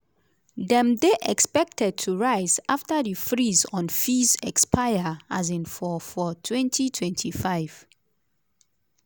dem dey expected to rise afta di freeze on fees expire um for for 2025.